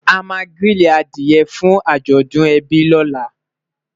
o má grili adìe fún ajọdun ebi lọla